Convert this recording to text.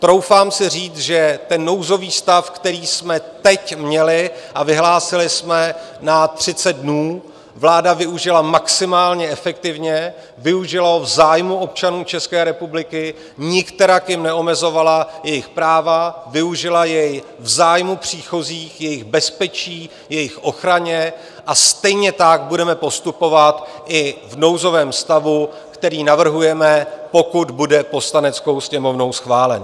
Troufám si říct, že ten nouzový stav, který jsme teď měli a vyhlásili jsme na 30 dnů, vláda využila maximálně efektivně, využila ho v zájmu občanů České republiky, nikterak jim neomezovala jejich práva, využila jej v zájmu příchozích, jejich bezpečí, jejich ochrany a stejně tak budeme postupovat i v nouzovém stavu, který navrhujeme, pokud bude Poslaneckou sněmovnou schválen.